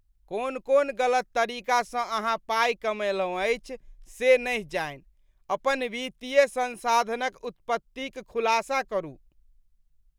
कोन कोन गलत तरीकासँ अहाँ पाइ कमयलहुँ अछि से नहि जानि? अपन वित्तीय संसाधनक उत्पत्तिक खुलासा करू ।